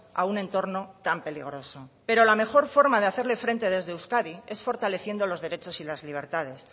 a un entorno tan peligroso pero la mejor forma de hacerle frente desde euskadi es fortaleciendo los derechos y las libertades